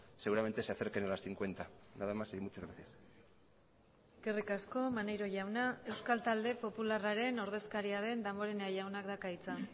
seguramente se acerquen a las cincuenta nada más y muchas gracias eskerrik asko maneiro jauna euskal talde popularraren ordezkaria den damborenea jaunak dauka hitza